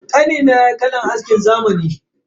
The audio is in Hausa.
Kanina yayi kalan askin zamani.